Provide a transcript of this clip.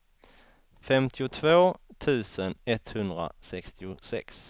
femtiotvå tusen etthundrasextiosex